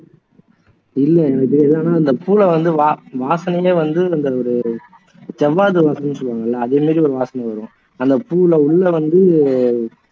இல்லை எனக்கு தெரியாது ஆனா அந்த பூவை வந்து வா வாசனைலையே வந்து ஒரு ஜவ்வாது வாசனைன்னு சொல்லுவாங்க இல்லை அது ஒரு வாசனை வரும் அந்த பூவுல உள்ள வந்து